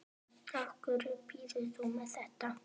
Af hverju býðurðu mér þetta?